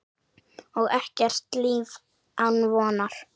Og ekkert líf án vonar.